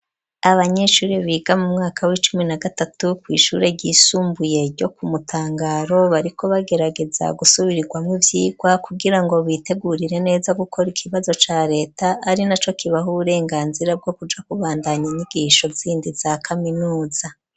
Abanyeshure biga mu mwaka w'icumi na gatatu kw'ishure ryisumbuye ryo ku mutangaro bariko bagerageza gusubiramwo ivyigwa kugira ngo bitegurire neza gukora ikibazo ca reta ari naco kibaho uburenganzira bwo kuja kubandanya inyigisho zindi za kaminuza.